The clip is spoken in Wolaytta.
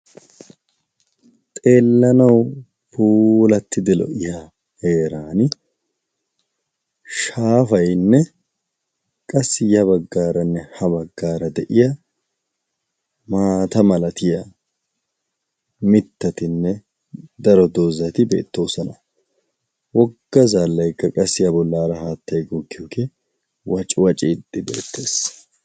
xeellanawu pulattidi lo''iya heeran shaafaynne qassi ya baggaaranne ha baggaara de'iya maata malatiya mittatinne daro doozati beettoosana wogga zaallay ga qassi a bollaara haattay goggiyoogee wacuwaaciiddi beettees